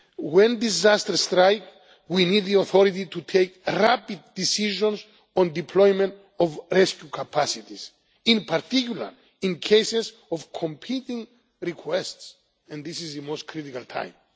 lost. When disasters strikes, we need the authority to take rapid decisions on deployment of rescue capacities, in particular in cases of competing requests and this is the most critical